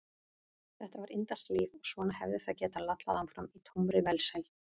Þetta var indælt líf og svona hefði það getað lallað áfram í tómri velsæld.